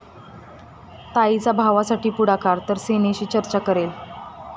ताईचा भावासाठी पुढाकार,...तर सेनेशी चर्चा करेल!